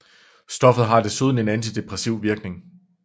Stoffet har desuden en antidepressiv virkning